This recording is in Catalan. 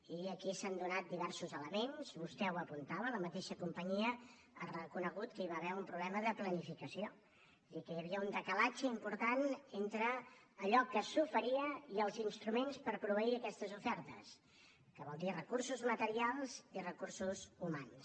i aquí s’han donat diversos elements vostè ho apuntava la mateixa companyia ha reconegut que hi va haver un problema de planificació és a dir que hi havia un decalatge important entre allò que s’oferia i els instruments per proveir aquestes ofertes que vol dir recursos materials i recursos humans